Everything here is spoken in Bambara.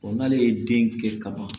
n'ale ye den kɛ ka ban